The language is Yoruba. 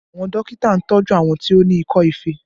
Àwọn dókítà ń tọju àwọn tó ní ikọ́ ife